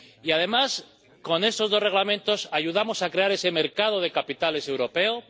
Además, con esos dos Reglamentos ayudamos a crear ese mercado de capitales europeo.